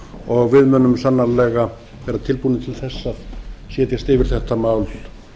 og við munum sannarlega vera tilbúin til þess að setjast yfir þetta mál